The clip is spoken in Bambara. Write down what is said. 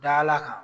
Dala kan